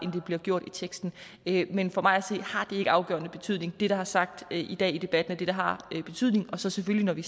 bliver gjort i teksten men for mig at se har det ikke afgørende betydning det der er sagt i dag i debatten er det der har betydning og så selvfølgelig når vi